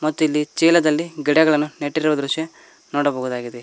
ಮತ್ತು ಇಲ್ಲಿ ಚೀಲದಲ್ಲಿ ಗಿಡಗಳನ್ನು ನೆಟ್ಟಿರುವ ದೃಶ್ಯ ನೋಡಬಹುದಾಗಿದೆ.